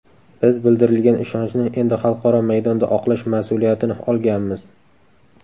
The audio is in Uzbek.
Biz bildirilgan ishonchni endi xalqaro maydonda oqlash mas’uliyatini olganmiz.